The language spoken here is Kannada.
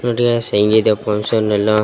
ಟು ಡೇಸ್ ಹೆಂಗಿದೆ ಫಂಕ್ಷನ್ ಎಲ್ಲಾ .